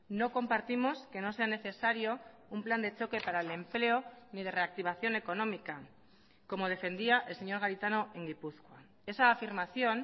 no compartimos que no sea necesario un plan de choque para el empleo ni de reactivación económica como defendía el señor garitano en gipuzkoa esa afirmación